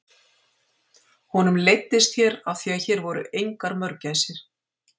Honum leiddist hér af því að hér voru engar mörgæsir.